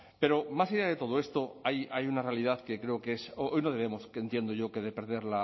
pero más allá de todo esto hay una realidad que creo que hoy no debemos que entiendo yo que de perder